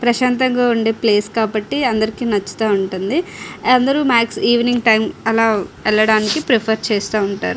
ప్రశాంతంగా ఉండే ప్లేస్ కాబ్బటి అందరికి నాచేత ఉంటది అందరు ఆలా వెళ్ళడానికి ప్రిఫర్ చేస్తూ ఉంటారు .